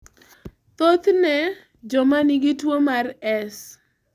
Thothne, joma nigi tuo mar S.